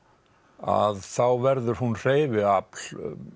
að þá verður hún hreyfiafl